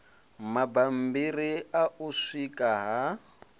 mabambiri a u sika ha